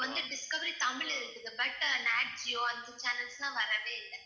இப்ப வந்து டிஸ்கவரி தமிழ் இருக்குது but அந்த channels லாம் வரவே இல்ல